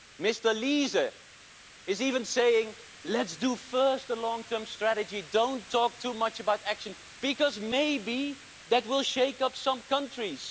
Mr Liese is even saying Let's do first a long term strategy, don't talk too much about action, because maybe that will shake up some countries!'